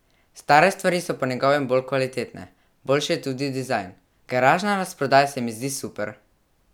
Stare stvari so po njegovem bolj kvalitetne, boljši je tudi dizajn: "Garažna razprodaja se mi zdi super.